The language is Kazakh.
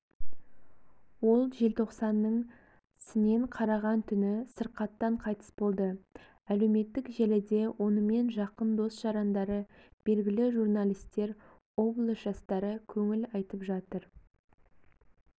ол желтоқсанның сінен қараған түні сырқаттан қайтыс болды әлеуметтік желіде онымен жақындос-жарандары белгілі журналистер облыс жастары көңіл айтып жатыр